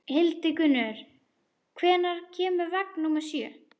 Hildigunnur, hvenær kemur vagn númer sjö?